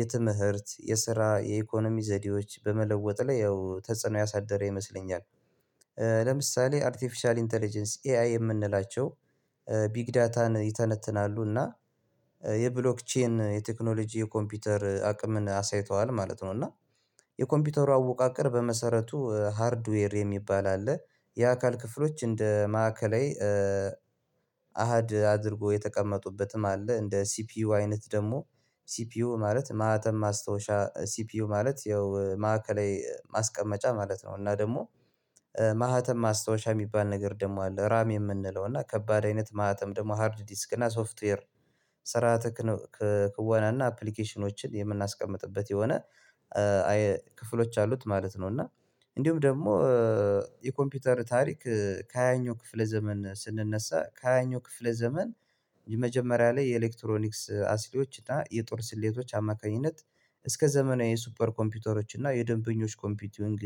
የትምህርት የስራ የኢኮኖሚ ዘዴዎች በመለወጥ ላይ ያው ተጽዕኖ ያሳደረ ይመስለኛል። ለምሳሌ አርቲፊሻል ኢንተለጀንስ ኤአይ የምንላቸው ቢግ ዳታን ይተነትናሉና የብሎክቼን የቴክኖሎጂ የኮምፒውተር አቅምን አሳይተዋል ማለት ነው። እና የኮምፒውተሩ አወቃቀር በመሰረቱ ሃርድዌር የሚባል አለ የአካል ክፍሎች እንደ ማዕከላዊ አሃድ አድርጎ የተቀመጡበትም አለ እንደ ሲፒዩ አይነት ደግሞ ሲፒዩ ማለት ማህተም ማስታወሻ ሲፒዩ ማለት ያው ማዕከላዊ ማስቀመጫ ማለት ነው። እና ደግሞ ማህተም ማስታወሻ የሚባል ነገር ደግሞ አለ ራም የምንለው እና ከባድ አይነት ማህተም ደግሞ ሃርድ ዲስክ እና ሶፍትዌር ክዋና እና አፕሊኬሽኖችን የምናስቀምጥበት የሆነ ክፍሎች አሉት ማለት ነው። እና እንዲሁም ደግሞ የኮምፒውተር ታሪክ ከሃያኛው ክፍለ ዘመን ስንነሳ ከሃያኛው ክፍለ ዘመን የመጀመሪያ ላይ የኤሌክትሮኒክስ አሲሊዎች እና የጦር ስሌቶች አማካኝነት እስከ ዘመናዊ የሱፐር ኮምፒውተሮች እና የደንበኞች ኮምፒዩቲንግ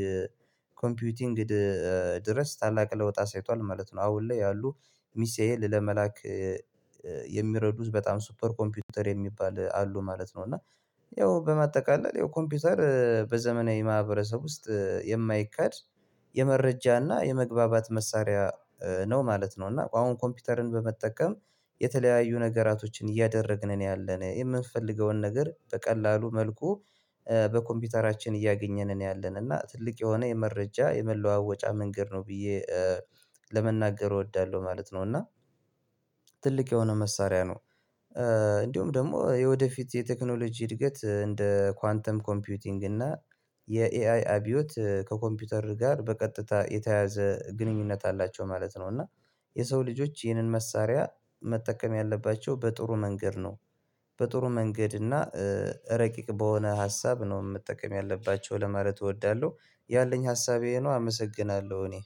ኮምፒዩቲንግ ድረስ ታላቅ ለውጥ አሳይቷል ማለት ነው። አሁን ላይ ያሉ ሚሳኤል ለመላክ የሚረዱት በጣም ሱፐር ኮምፒውተር የሚባል አሉ ማለት ነው። እና ያው በማጠቃለል ያው ኮምፒውተር በዘመናዊ ማህበረሰብ ውስጥ የማይካድ የመረጃና የመግባባት መሳሪያ ነው ማለት ነው። እና አሁን ኮምፒውተርን በመጠቀም የተለያዩ ነገራቶችን እያደረግን ነው ያለነው የምንፈልገውን ነገር በቀላሉ መልኩ በኮምፒውተራችን እያገኘን ነው ያለን እና ትልቅ የሆነ የመረጃ የመለዋወጫ መንገድ ነው ብዬ ለመናገር እወዳለሁ ማለት ነው። እና ትልቅ የሆነ መሳሪያ ነው። እንዲሁም ደግሞ የወደፊት የቴክኖሎጂ እድገት እንደ ኳንተም ኮምፒዩቲንግ እና የኤአይ አብዮት ከኮምፒውተር ጋር በቀጥታ የተያዘ ግንኙነት አላቸው ማለት ነው። እና የሰው ልጆች ይህንን መሳሪያ መጠቀም ያለባቸው በጥሩ መንገድ ነው በጥሩ መንገድ እና ረቂቅ በሆነ ሀሳብ ነው መጠቀም ያለባቸው ለማለት እወዳለሁ። ያለኝ ሀሳቤ ይሄ ነው አመሰግናለሁ። እኔ